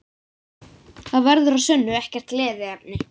Það verður að sönnu ekkert gleðiefni